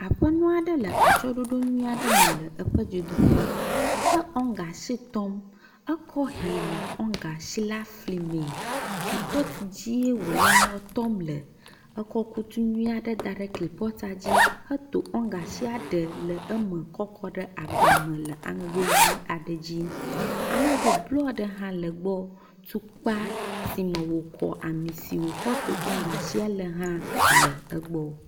Aƒenɔ aɖe le atsyɔɖoɖo nyuie aɖe me le eƒe dzodoƒe. Ewɔŋgashi tɔm. Ekɔ hɛ nɔ ŋgashi la flim. Kupɔti dzie wole nua tɔm le. Ekɔ kutu nyui aɖe da ɖe kupɔtia dzi heto ŋgashia ɖe le eme kɔ kɔ ɖe agba me le aŋego ʋi aɖe dzi. Aŋego blɔ ɖe hã le gbɔ. Tukpa si me wokɔ ami si wokɔ to wɔŋgashia hã le egbɔ.